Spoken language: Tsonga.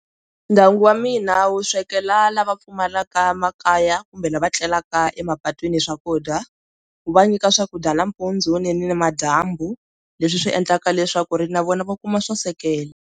Ndyangu wa mina wu swekela lava pfumalaka makaya kumbe lava tlelaka emapatwini swakudya wu va nyika swakudya nampundzu ni na madyambu leswi swi endlaka leswaku ri na vona va kuma swo sekela.